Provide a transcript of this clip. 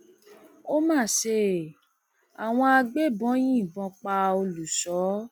ó má ṣe àwọn agbébọn yìnbọn pa olùṣọ